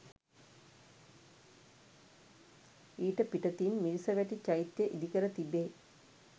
ඊට පිටතින් මිරිසවැටි චෛත්‍යය ඉදිකර තිබේ.